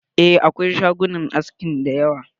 Eh, akwai shagunan aski da yawa.